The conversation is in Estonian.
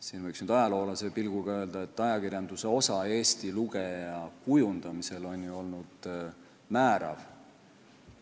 Siin võiks nüüd ajaloolase pilguga öelda, et ajakirjanduse osa Eesti lugeja kujundamisel on olnud määrav.